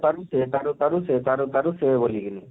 ଚାଲିଛେ ତାରୁ ତାରୁ ସେ ତାରୁ ତାରୁ ସେ ବଳି କରି?